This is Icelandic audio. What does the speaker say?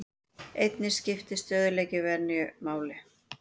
Einnig skiptir stöðugleiki venju máli.